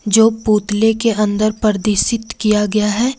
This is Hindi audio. जो पुतले के अंदर प्रदिसित किया गया है।